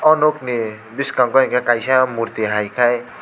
o nog ni biskango hingke kaisa morti hai ke.